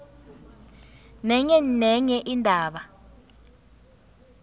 nenye nenye indaba